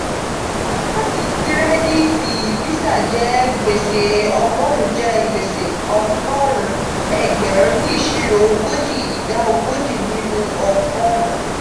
kaadi kiredi ti visa je gbese ogorun je gbese ogorun egberun ni isiro ogoji ida ogoji ninu ogorun.